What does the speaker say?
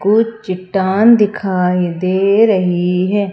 कुछ चट्टान दिखाई दे रही है।